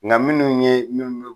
Ŋa minnu ye min be